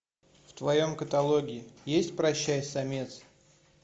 в твоем каталоге есть прощай самец